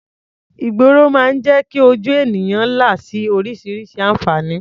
Ìgboro máa ń jẹ́ kí ojú ènìyàn là sí oríṣiríṣi àǹfààní.